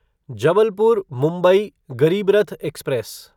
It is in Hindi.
जबलपुर मुंबई गरीबरथ एक्सप्रेस